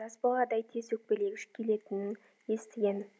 жас баладай тез өкпелегіш келетінін естігем